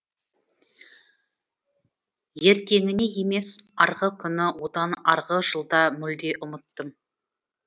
ертеңіне емес арғы күні одан арғы жылда мүлде ұмыттым